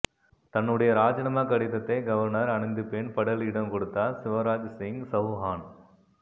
தன்னுடைய ராஜினாமா கடிதத்தை கவர்னர் அனந்திபென் படேலிடம் கொடுத்தார் சிவராஜ் சிங் சௌஹான்